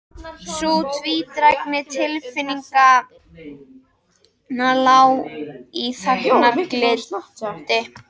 Sú tvídrægni tilfinninganna lá í þagnargildi.